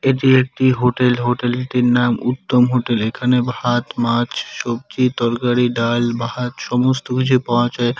এটি একটি হোটেল হোটেলটির নাম উত্তম হোটেল এখানে ভাত মাছ সবজি তরকারি ডাল ভাত সমস্ত কিছু পাওয়া যায়।